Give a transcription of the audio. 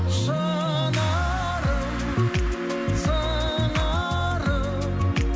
шынарым сыңарым